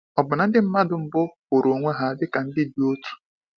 Ọ̀ bụ na ndị mmadụ mbụ hụrụ onwe ha dịka ndị dị otu?